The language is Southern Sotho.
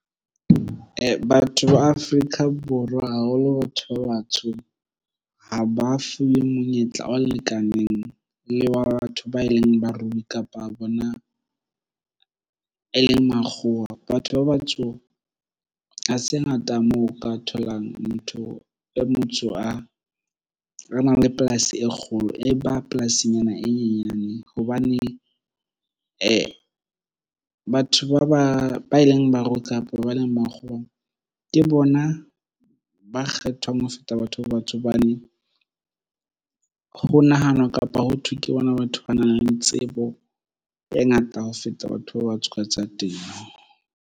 Batho ba Afrika Borwa haholo batho ba batsho ha ba fuwe monyetla o lekaneng le wa batho ba e leng barui kapa bona e leng Makgowa. Batho ba batsho ha se ngata moo o ka tholang motho e motsho a nang le polasi e kgolo e ba polasinyana e nyenyane hobane batho ba eleng ba ruta hape ba leng makgoweng ke bona ba kgethwang ho feta batho ba batsho hobane ho nahanwa kapa ho thwe ke bona batho ba nang le tsebo e ngata ho feta batho ba ba tsaka tsa temo.